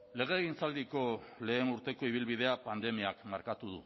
legegintzaldiko lehen urteko ibilbidea pandemiak markatu